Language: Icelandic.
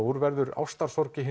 úr verður ástarsorg í